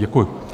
Děkuji.